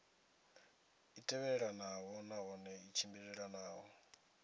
i tevhelelanaho nahone i tshimbilelanaho